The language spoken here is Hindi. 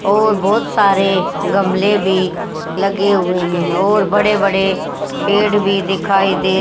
और बहोत सारे गमले भी लगे हुए हैं और बड़े बड़े पेड़ भी दिखाई दे--